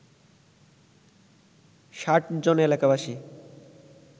৬০ জন এলাকাবাসী